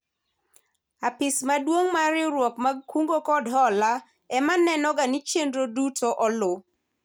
Apis maduong' mar riwruoge mag kungo kod hola ema nenoga ni chenro duto olu